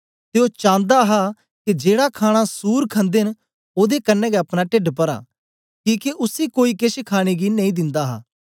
ते ओ चांदा हा के जेड़ा खाणा सूर खंदे न ओदे कन्ने गै अपना टेढ पराँ किके उसी कोई केछ खाणे गी नेई दिन्दा हा